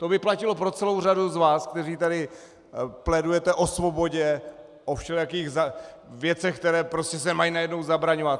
To bylo platilo pro celou řadu z vás, kteří tady plédujete o svobodě, o všelijakých věcech, které prostě se mají najednou zabraňovat.